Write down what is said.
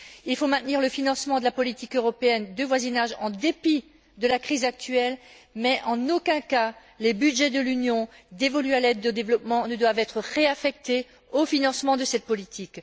Il faut maintenir le financement de la politique européenne de voisinage en dépit de la crise actuelle mais, en aucun cas, les budgets de l'Union dévolus à l'aide au développement ne doivent être réaffectés au financement de cette politique.